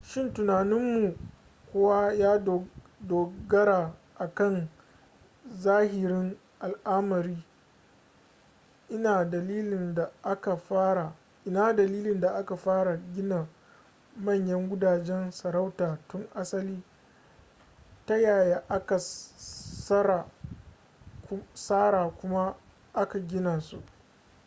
shin tunaninmu kuwa ya dogara a kan zahirin al'amari ina dalilin da aka fara gina manyan gudajen sarauta tun asali ta yaya aka tsara kuma aka gina su